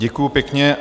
Děkuju pěkně.